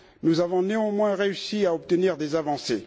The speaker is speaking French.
Nous avons néanmoins réussi à obtenir des avancées.